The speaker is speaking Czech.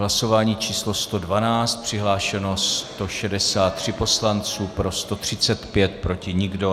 Hlasování číslo 112, přihlášeno 163 poslanců, pro 135, proti nikdo.